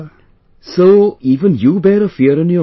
So...even you bear a fear in your mind